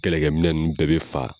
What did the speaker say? Kɛlɛkɛminɛn ninnu bɛɛ be fa